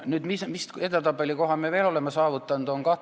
Nüüd, millise hea edetabelikoha me veel oleme saavutanud?